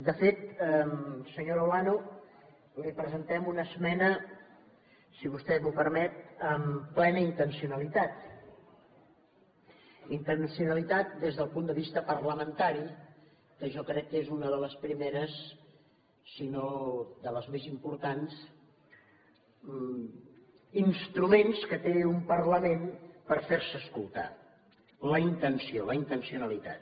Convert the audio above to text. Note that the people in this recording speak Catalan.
de fet senyora olano li presentem una esmena si vostè m’ho permet amb plena intencionalitat intencionalitat des del punt de vista parlamentari que jo crec que és un dels primers si no dels més importants instruments que té un parlament per fer se escoltar la intenció la intencionalitat